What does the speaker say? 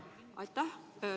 Aitäh!